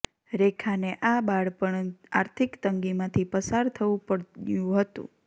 રેખાને આ બાળપણ આર્થિક તંગીમાંથી પસાર થવું પડ્યુ હતુ